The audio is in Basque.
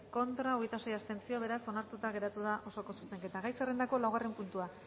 contra hogeita sei abstentzio beraz onartuta geratu da osoko zuzenketa gai zerrendako laugarren puntua